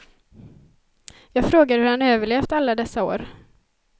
Jag frågar hur han överlevt alla dessa år.